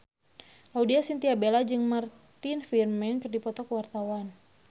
Laudya Chintya Bella jeung Martin Freeman keur dipoto ku wartawan